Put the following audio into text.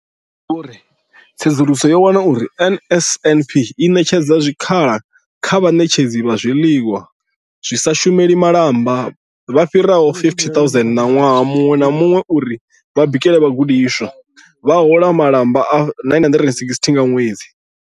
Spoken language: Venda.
Vho Mathe vho ri, Tsedzuluso yo wana uri NSNP i ṋetshedza zwikhala kha vhaṋetshedzi vha zwiḽiwa vha sa shumeli malamba vha fhiraho 50 000 ṅwaha muṅwe na muṅwe uri vha bikele vhagudiswa, vha hola malamba a R960 nga ṅwedzi.